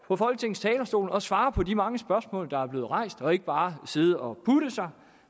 på folketingets talerstol og svare på de mange spørgsmål der er blevet rejst og ikke bare sidde og putte sig